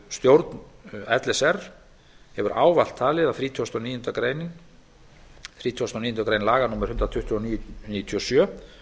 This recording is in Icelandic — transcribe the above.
stjórn l s r hefur ávallt talið að þrítugasta og níundu grein laga númer hundrað tuttugu og níu nítján hundruð níutíu og sjö